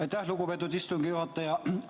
Aitäh, lugupeetud istungi juhataja!